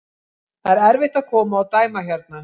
Það er erfitt að koma og dæma hérna.